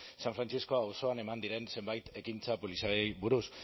san francisco auzoan eman diren zenbait ekintza poliziaeli buruz